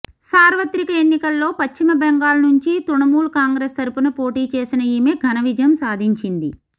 సార్వత్రిక ఎన్నికల్లో పశ్చిమ బెంగాల్ నుంచి తుణమూల్ కాంగ్రెస్ తరుపున పోటీ చేసిన ఈమె ఘనవిజయం సాధించింది